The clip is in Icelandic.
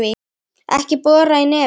Ekki bora í nefið!